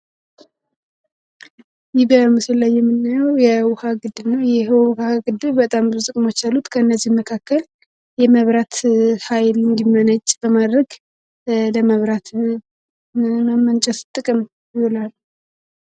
ይህ በምስሉ ላይ የምናየው የዉሃ ግድብ ነው ይህ የውሃ ግድብ ብዙ ጥቅሞች አሉት። ከእነዚህ መካከል የመብራት ሀይል እንዲመነጭ ለማድረግ ለማመንጨት ጥቅም ይውላል።